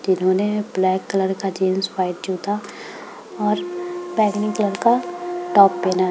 जिन्होंने black colour का jeans white जूता और बैगनी कलर का टॉप पेहना है।